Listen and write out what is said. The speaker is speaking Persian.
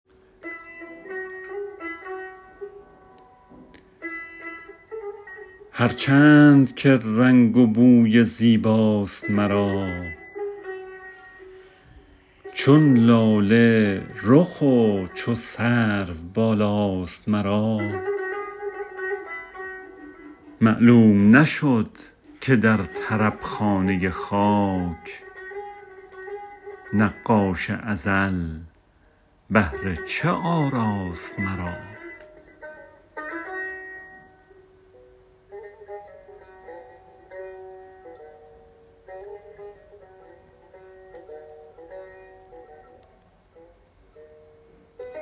هر چند که رنگ و بوی زیباست مرا چون لاله رخ و چو سرو بالاست مرا معلوم نشد که در طرب خانه خاک نقاش ازل بهر چه آراست مرا